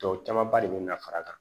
Tɔw camanba de bɛ na fara a kan